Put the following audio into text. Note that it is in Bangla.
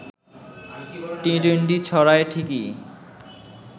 টি-টোয়েন্টি ছড়ায় ঠিকই